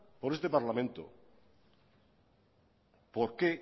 por este parlamento por qué